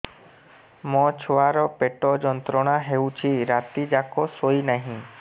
ମୋ ଛୁଆର ପେଟ ଯନ୍ତ୍ରଣା ହେଉଛି ରାତି ଯାକ ଶୋଇନାହିଁ